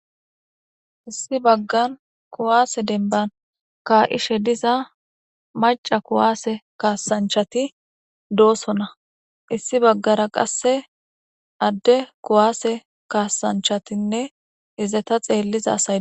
Issi bagani kuwase demibbani kaishshr diza macca kuwase kasanichchati dosona issi bagara qase ade kuwase kasaanichchatinne xeliza asayi desi